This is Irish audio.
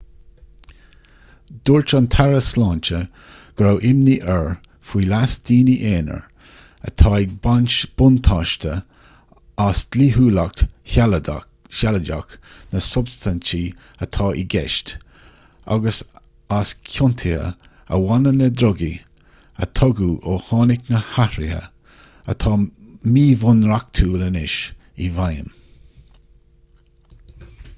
dúirt an taire sláinte go raibh imní air faoi leas daoine aonair atá ag baint buntáiste as dlíthiúlacht shealadach na substaintí atá i gceist agus as ciontuithe a bhaineann le drugaí a tugadh ó tháinig na hathruithe atá míbhunreachtúil anois i bhfeidhm